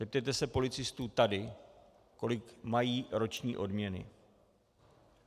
Zeptejte se policistů tady, kolik mají roční odměny.